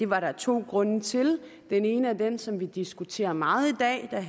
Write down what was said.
var der to grunde til den ene er den som vi diskuterer meget i dag og